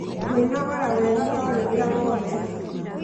kwinogora wega o rĩrĩa wokĩra